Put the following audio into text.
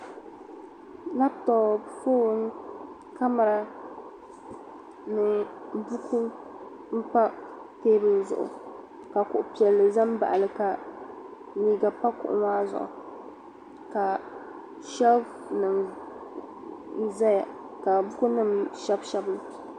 labtop foon kamɛra ni buku n pa teebuli zuɣu ka kuɣu piɛlli ʒɛ n baɣali ka liiga pa kuɣu maa zuɣu ka sheelf nim ʒɛya ka buku nim shɛbi shɛbi li